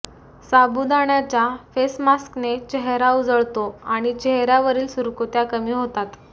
साबुदाण्याच्या फेसमास्कने चेहरा उजळतो आणि चेहऱ्यावरील सुरकुत्या कमी होतात